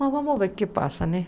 Mas vamos ver o que passa, né?